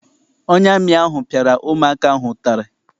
Onye amị ahụ piara ụmụ aka ahụ ụtarị.